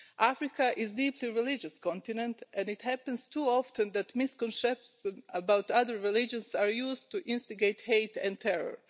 Africa is a deeply religious continent and it happens too often that misconceptions about other religions are used to instigate hate and terror.